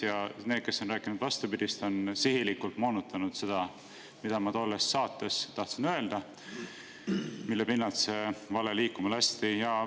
Ja need, kes on rääkinud vastupidist, on sihilikult moonutanud seda, mida ma tahtsin öelda tolles saates, millest see vale liikuma lasti.